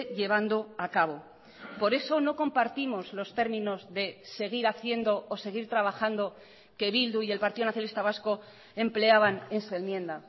llevando acabo por eso no compartimos los términos de seguir haciendo o seguir trabajando que bildu y el partido nacionalista vasco empleaban en su enmienda